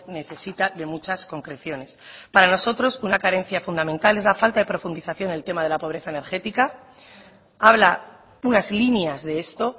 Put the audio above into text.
necesita de muchas concreciones para nosotros una carencia fundamental es la falta de profundización en el tema de la pobreza energética habla unas líneas de esto